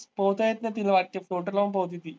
पोहता येत नाही तिला लावून पोहते ती.